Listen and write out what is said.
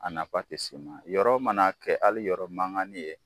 A nafa tɛ se ma yɔrɔ mana kɛ hali yɔrɔ mangani ye